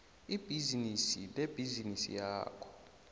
ibhizinisi lebhizinisi yakho